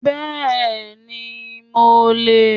Bẹ́ẹ̀ni, mo lè